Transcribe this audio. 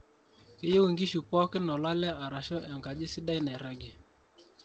keyieu inkishu pookin olale arashu enkaji sidai nairagie